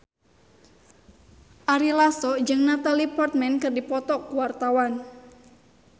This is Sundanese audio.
Ari Lasso jeung Natalie Portman keur dipoto ku wartawan